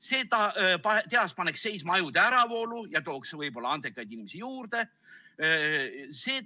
See tehas paneks seisma ajude äravoolu ja tooks võib-olla andekaid inimesi juurde.